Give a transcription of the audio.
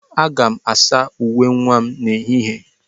Aga m asa uwe nwa m n'ehihie.